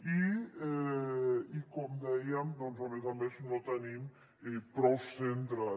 i com dèiem doncs a més a més no tenim prou centres